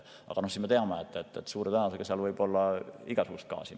Aga me teame, et suure tõenäosusega seal mahutis on igasugust gaasi.